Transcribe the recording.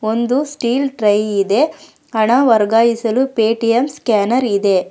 ಒಂದು steel tray ಇದೆ ಹಣ ವರ್ಗಾಯಿಸಲು ಪೇಟಿಎಮ್ ಸ್ಕ್ಯಾನರ್ ಇದೆ.